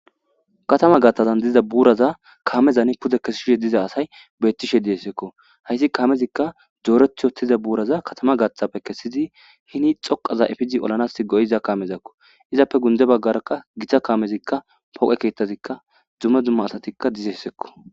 katama gaaththazan diza buuraza kaamezani pude kessishe diza asay beetishe diessekko hayssi kaamezikka dooreth hottiza buuraza katama gaaththappe kessizi hini xoqaza efizi olanas go7iza kaamezakko izappe gunde baggarakka gita kaamezikka pooqe keettazikka dzume dumma asatikka dizeessekko